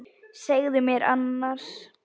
Segðu mér annars.